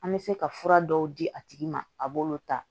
An bɛ se ka fura dɔw di a tigi ma a b'olu ta